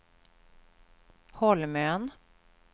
Holmön